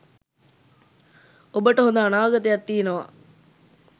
ඔබට හොඳ අනාගතයක් තියෙනවා